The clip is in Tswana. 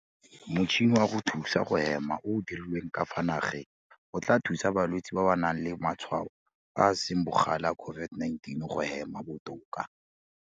MOTŠHINI wa go thusa go hema o o dirilweng ka fa nageng o tla thusa balwetse ba ba nang le matshwao a a seng bogale a COVID-19 go hema botoka.